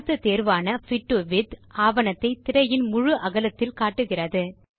அடுத்த தேர்வான fit to width ஆவணத்தை திரையின் முழு அகலத்தில் காட்டுகிறது